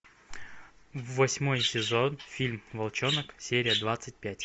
восьмой сезон фильм волчонок серия двадцать пять